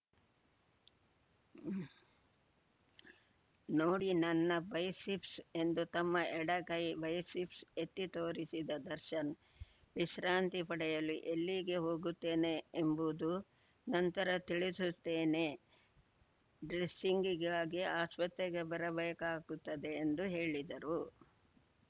ನೋಡಿ ನನ್ನ ಬೈಸಿಫ್ಸ್‌ ಎಂದು ತಮ್ಮ ಎಡಗೈ ಬೈಸಿಫ್ಸ್‌ ಎತ್ತಿ ತೋರಿಸಿದ ದರ್ಶನ್‌ ವಿಶ್ರಾಂತಿ ಪಡೆಯಲು ಎಲ್ಲಿಗೆ ಹೋಗುತ್ತೇನೆ ಎಂಬುವುದು ನಂತರ ತಿಳಿಸುತ್ತೇನೆ ಡ್ರೆಸ್ಸಿಂಗ್‌ಗಾಗಿ ಆಸ್ಪತ್ರೆಗೆ ಬರಬೇಕಾಗುತ್ತದೆ ಎಂದು ಹೇಳಿದರು